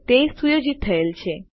તે સુયોજિત થયેલ છે